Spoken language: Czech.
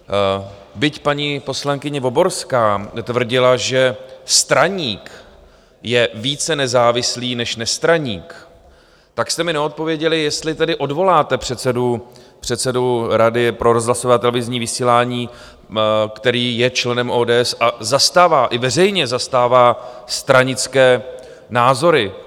Byť paní poslankyně Voborská tvrdila, že straník je více nezávislý než nestraník, tak jste mi neodpověděli, jestli tedy odvoláte předsedu Rady pro rozhlasové a televizní vysílání, který je členem ODS a zastává - i veřejně zastává - stranické názory.